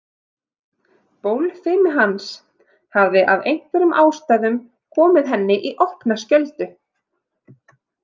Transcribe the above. Bólfimi hans hafði af einhverjum ástæðum komið henni í opna skjöldu.